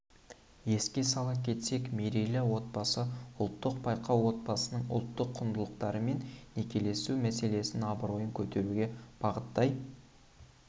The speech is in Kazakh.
еске сала кетсек мерейлі отбасы ұлттық байқауы отбасының ұлттық құндылықтары мен некелесу мәселесінің абыройын көтеруге бағыттай